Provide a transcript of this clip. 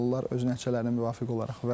Öz nəticələrinə müvafiq olaraq.